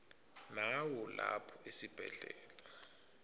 nawo lapha esibhedlela